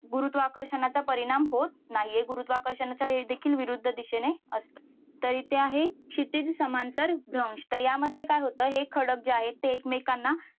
गुरुत्वाकर्षणाचा परिणाम होत नाही हे गुरुत्वाकर्षणाच्या देखील विरुद्ध दिशेने असतं. तर इथे आहे क्षितिज समांतर भ्रंश. तर यामध्ये काय होत. हे खडक जे आहेत ते एकमेकांना